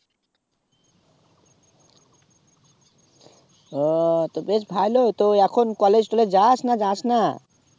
ও তো বেশ ভালো এখন college টলেয যাস না যাসনা